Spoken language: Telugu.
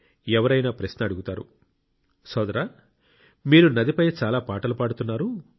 ఎవరైనా ప్రశ్న అడుగుతారు సోదరా మీరు నదిపై చాలా పాటలు పాడుతున్నారు